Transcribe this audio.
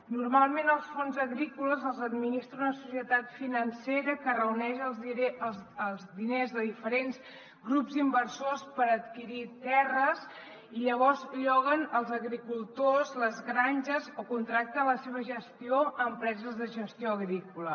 normalment els fons agrícoles els administra una societat financera que reuneix els diners de diferents grups inversors per adquirir terres i llavors lloguen als agricultors les granges o contracten la seva gestió a empreses de gestió agrícola